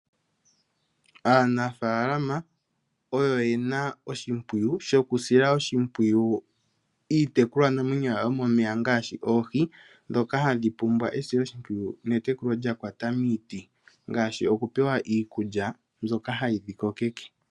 Aanafalama oyo yena oshimpwiyu shokusila oshimpwiyu iitekulwa namwenyo yawo yomomeya ngaashi oohi dhoka hadhi pumbwa esilo shimpwiyu netekulo lyakwata miiti ngaashi okupewa iikulya mbyoka hayi dhi kokeke.